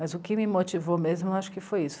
Mas o que me motivou mesmo, eu acho que foi isso.